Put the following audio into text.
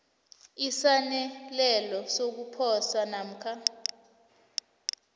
esaneleko sokuposa namkha